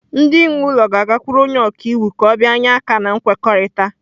Ndị nwe ụlọ ga-agakwuru onye ọka iwu ka ọ bịanye aka na nkwekọrịta.